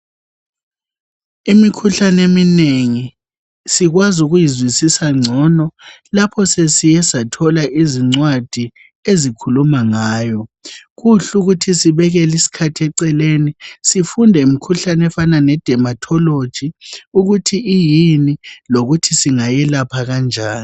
Imikhuhlane eminengi sikwazi ukuyizwisisa ngcono lapho sesike sathola izncwadi ezikhuluma ngayo kuhle ukuthi sibekele isikhathi eceleni sifunde ngemikhuhlane efana ledematholoji ukuthi iyini lokuthi singayelapha kanjani